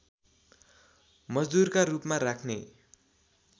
मजदुरका रूपमा राख्ने